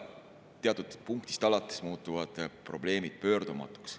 Teatud punktist alates muutuvad probleemid pöördumatuks.